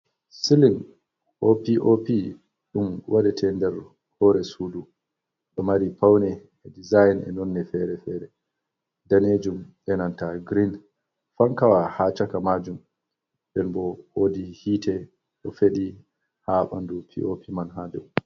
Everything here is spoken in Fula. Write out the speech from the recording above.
Silin pop ɗon waɗe te ndar hore sudu, nda mari paune e design e nonne fere-fere danejum enanta green, fankawa ha chaka majun nden bo wodi hite ɗo feɗi ha ɓandu pop man ha dow.